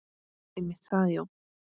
Einmitt það, já.